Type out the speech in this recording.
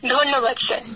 ধন্যবাদ স্যার